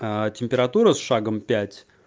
температура с шагом пять